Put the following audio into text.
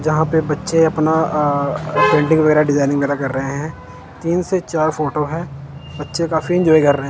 जहां पर बच्चे अपना पेंटिंग वगैरह डिजाइनिंग वगैरह कर रहे हैं। तीन से चार फोटो है। बच्चे काफी एंजॉय कर रहे हैं।